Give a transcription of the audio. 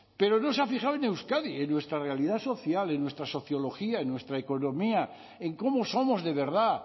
pero no se ha fijado en euskadi en nuestra realidad social en nuestra sociología en nuestra economía en cómo somos de verdad